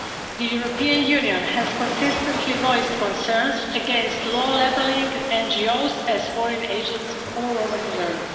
The European Union has consistently voiced concerns against laws labelling NGOs as foreign agents all over the world.